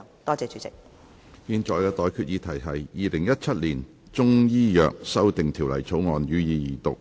我現在向各位提出的待決議題是：《2017年中醫藥條例草案》，予以二讀。